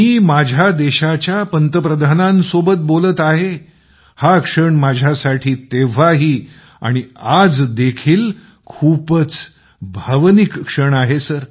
मी माझ्या देशाच्या पंतप्रधानांसोबत बोलत आहे हा क्षण मझ्यासाठी तेव्हाही आणि आज देखील खूपच भावनिक क्षण आहे